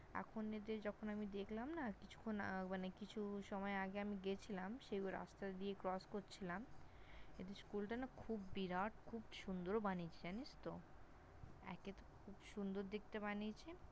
এখন এতে যখন আমি দেখলাম না কিছুক্ষণ মানে কিছু সময় আগে আমি গেছিলাম সেই রাস্তা দিয়ে Cross করছিলাম এদের School টা না খুব বিরাট খুব সুন্দর বানিয়েছে জানিস তো? একে তো খুব সুন্দর দেখতে বানিয়েছে